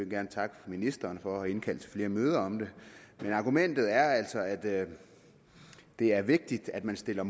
gerne takke ministeren for at have indkaldt til flere møder om det argumentet er altså at det er vigtigt at man stiller